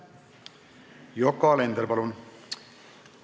Yoko Alender, palun!